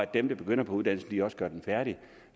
der begynder på uddannelsen også gør den færdig